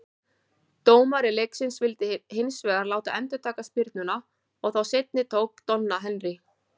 Dómari leiksins vildi hins vegar láta endurtaka spyrnuna, og þá seinni tók Donna Henry.